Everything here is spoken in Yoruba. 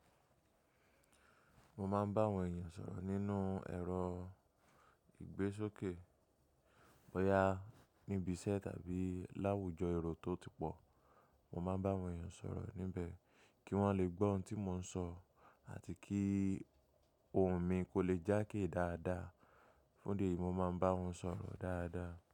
Mo máa ń bá àwọn èèyàn sọ̀rọ̀ nínú ẹ̀rọ ìgbésókè, bóyá níbi iṣẹ́ tàbí láwùjọ èrò tó ti pọ̀. Mo máa ń bá àwọn èèyàn sọ̀rọ̀ níbẹ̀ kí wọ́n lè gbọ́ ohun tí mò ń sọ àti kí ohùn mi kó lè jákè dáadáa. Fún ìdí èyi, mo máa ń bá wọn sọ̀rọ̀ dáadáa.